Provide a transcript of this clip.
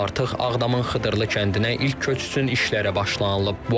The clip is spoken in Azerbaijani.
Artıq Ağdamın Xıdırılı kəndinə ilk köç üçün işlərə başlanılıb.